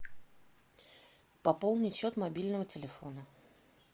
пополнить счет мобильного телефона